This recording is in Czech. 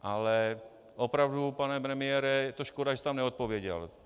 Ale opravdu, pane premiére, je to škoda, že jste nám neodpověděl.